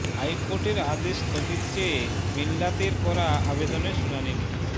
হাইকোর্টের আদেশ স্থগিত চেয়ে মিল্লাতের করা আবেদনের শুনানি নিয়ে